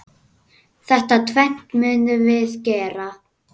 Þetta tvennt munum við gera.